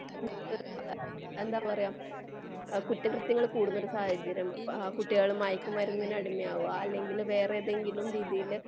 എന്താ പറയുക കുറ്റകൃത്യങ്ങൾ കൂടുന്നൊരു സാഹചര്യം. കുട്ടികള് മയക്ക് മരുന്നിന് അടിമയാവുക. വേറെ ഏതെങ്കിലും രീതിയില്